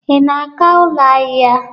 Ị na-aga ụlọ ahịa?